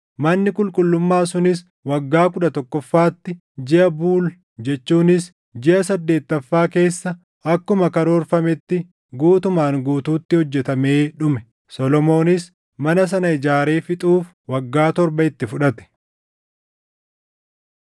Manni qulqullummaa sunis waggaa kudha tokkoffaatti, jiʼa Buul jechuunis jiʼa saddeettaffaa keessa akkuma karoorfametti guutumaan guutuutti hojjetamee dhume. Solomoonis mana sana ijaaree fixuuf waggaa torba itti fudhate.